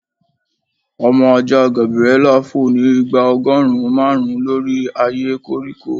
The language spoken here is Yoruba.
Ọmọ aja Gabriela fo ni igba ọgọrun marun lori aaye koriko